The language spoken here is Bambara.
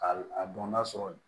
Ka a dɔn n'a sɔrɔ